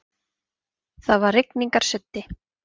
Það var rigningarsuddi.